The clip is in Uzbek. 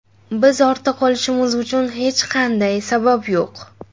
Biz ortda qolishimiz uchun hech qanday sabab yo‘q.